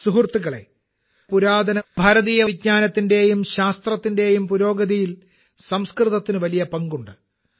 സുഹൃത്തുക്കളേ പുരാതന ഭാരതീയ വിജ്ഞാനത്തിന്റെയും ശാസ്ത്രത്തിന്റെയും പുരോഗതിയിൽ സംസ്കൃതത്തിന് വലിയ പങ്കുണ്ട്